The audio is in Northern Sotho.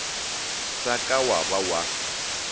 sa ka wa ba wa